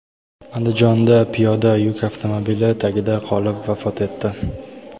Andijonda piyoda yuk avtomobili tagida qolib vafot etdi.